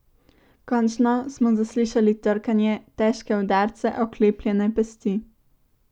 Končno smo zaslišali trkanje, težke udarce oklepljene pesti.